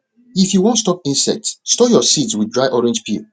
if you wan stop insects store your seeds with dry orange peel